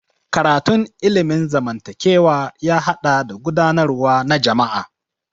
Karatun ilimin zamantakewa ya haɗa da gudanarwa na jama'a.